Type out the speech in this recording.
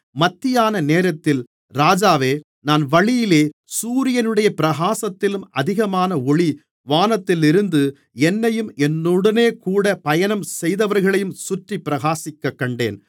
மத்தியான நேரத்தில் ராஜாவே நான் வழியிலே சூரியனுடைய பிரகாசத்திலும் அதிகமான ஒளி வானத்திலிருந்து என்னையும் என்னுடனேகூடப் பயணம் செய்தவர்களையும் சுற்றிப் பிரகாசிக்கக்கண்டேன்